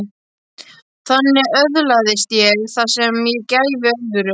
Þannig öðlaðist ég það sem ég gæfi öðrum.